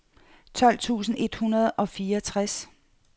tolv tusind et hundrede og fireogtres